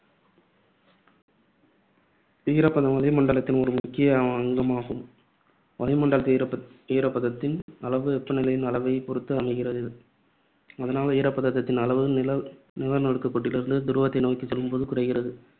ஈரப்பதம் வளிமண்டலத்தின் ஒரு முக்கிய அங்கமாகும். வளிமண்டலத்தில் ஈரப்ப~ ஈரப்பத்தின் அளவு வெப்பநிலையின் அளவை பொறுத்து அமைகிறது. அதனால் ஈரப்பதத்தின் அளவு நில நிலநடுக்கோட்டிலிருந்து துருவத்தை நோக்கிச் செல்லும்போது குறைகிறது.